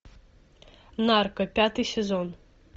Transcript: нарко пятый сезон